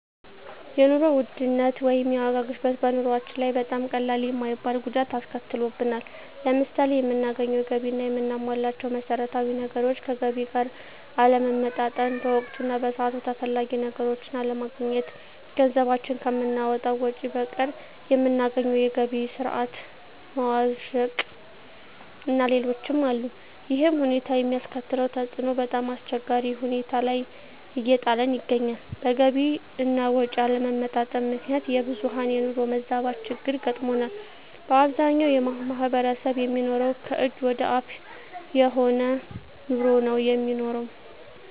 የኑሮ ውድነት ወይም የዋጋ ግሽበት በኑሮአችን ላይ በጣም ቀላል የማይባል ጉዳት አስከትሎብናል። ለምሳሌ የምናገኘው ገቢ እና የምናሟላቸው መሠረታዊ ነገሮች ከገቢ ጋር አለመመጣጠን፣ በወቅቱ እና በሰዓቱ ተፈላጊ ነገሮችን አለማግኘት፣ ገንዘባችን ከምናወጣው ወጭ በቀር የምናገኘው የገቢ ስረዓት መዋዠቅእና ሌሎችም አሉ። ይሕም ሁኔታ የሚያስከትለው ተፅዕኖ በጣምአስቸጋሪ ሁኔታ ላይ እየጣለን ይገኛል። በገቢ አና ወጭ አለመመጣጠን ምክንያት የብዙሀን የኑሮ መዛባት ችግር ገጥሞናል። በአብዛኛው ማሕበረሰብ የሚኖረው ከእጅ ወደ አፍ የሆነ ኑሮ ነው የሚኖረው።